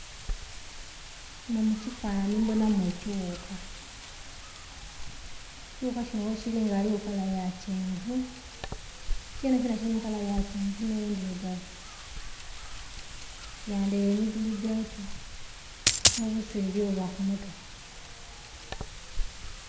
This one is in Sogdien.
Munho mukifanhanhi ndhibonhamu ekighuka, ekighuka kinho ghekiri nga ghaligho kala eyakyenvu kyenhe kinho kirimu kala eyakyenvu nh'endherugavu kiyandhere emigulu gyakyo nhobuswere obuba kumutwe.